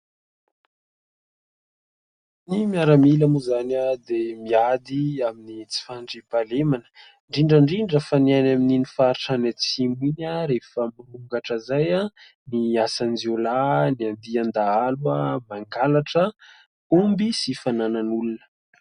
Ny miaramila moa izany dia miady amin'ny tsy fandriam-pahalemana, indrindra indrindra fa ny any amin'iny faritra any atsimo iny, rehefa mirongatra izay ny asan-jiolahy ,ny andian-dahalo mangalatra omby sy fananan'olona